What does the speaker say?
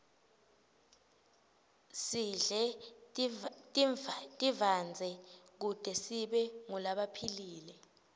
sidle tivandze kute sibe ngulabaphilile